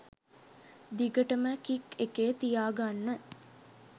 දිගටම කික් එකේ තියාගන්න.